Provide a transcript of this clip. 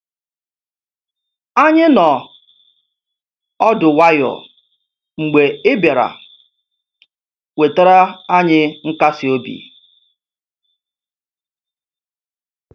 Anyị noọ ọdụ nwayọ mgbe ị bịara, wetara anyị nkasiobi.